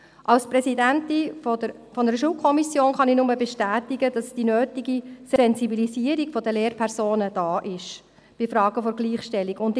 Als Präsidentin einer Schulkommission kann ich nur bestätigen, dass die nötige Sensibilisierung der Lehrpersonen in Fragen der Gleichstellung vorhanden ist.